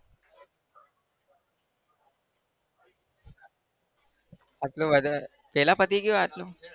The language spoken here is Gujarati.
આટલું વધારે વેલા પતિ ગયું આટલું?